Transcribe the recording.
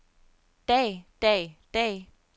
dag dag dag